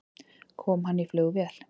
Kom hann í flugvél?